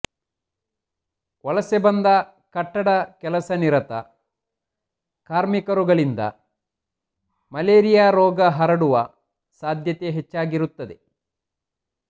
ವಲಸೆ ಬಂದ ಕಟ್ಟಡ ಕೆಲಸನಿರತ ಕಾರ್ಮಿಕರುಗಳಿಂದ ಮಲೇರಿಯಾ ರೋಗ ಹರಡುವ ಸಾಧ್ಯತೆ ಹೆಚ್ಚಾಗಿರುತ್ತದೆ